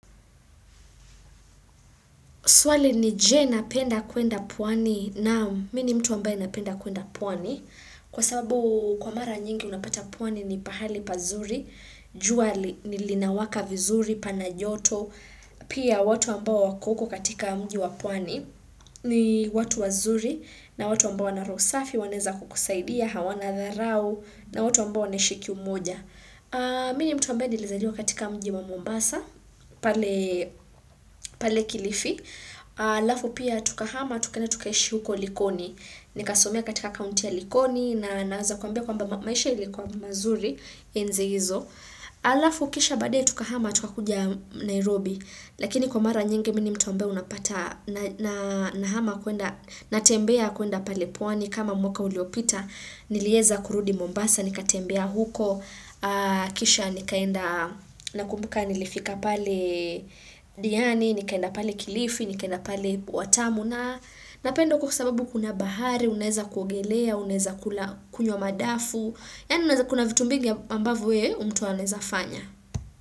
Swali ni je, na penda kuenda pwani? Naam mimi ni mtu ambaye napenda kuenda pwani. Kwa sababu kwa mara nyingi unapata pwani ni pahali pazuri, jua linawaka vizuri, pana joto. Pia watu ambao wako huko katika mji wa pwani ni watu wazuri na watu ambao wana roho safi, wanaweza kukusaidia, hawana dharau ni watu ambao wanaishi kiumoja. Mimi ni mtu ambaye nilizaliwa katika mji wa Mombasa, pale Kilifi. Alafu pia tukahama tukaenda tukaishi huko likoni nikasomea katika kaunti ya likoni na naweza kuambia kwamba maisha ilikuwa mazuri enzi hizo alafu kisha baadaye tukahama tukakuja Nairobi lakini kwa mara nyingi mimi ni mtu ambaye unapata nahama kuenda, natembea kuenda pale pwani kama mwaka uliopita niliweza kurudi Mombasa nikatembea huko kisha nikaenda, nakumbuka nilifika pale diani, nikaenda pale kilifi, nikaenda pale watamu na. Napenda huko kwa sababu kuna bahari, unaweza kuogelea, unaweza kunywa madafu. Yaani unaweza, kuna vitu mbigi ambavyo yeye mtu unaezafanya.